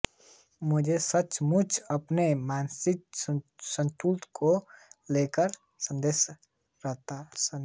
मुझे सचमुच अपने मानसिक संतुलन को लेकर संदेह था